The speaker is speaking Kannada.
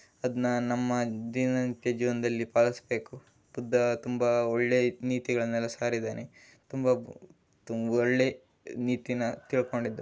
ಅದನ್ನ ನಮ್ಮ ದಿನನಿತ್ಯ ಜೀವನದಲ್ಲಿ ಪಾಲಿಸಬೇಕು ಬುದ್ದ ತುಂಬಾ ಒಳ್ಳೆ ನೀತಿಗಳ ಸಾರಿದ್ದಾನೆ. ತುಂಬ ತುಂಬ ಒಳ್ಳೆ ನೀತಿನ ತಿಳಕೊಂಡಿದ.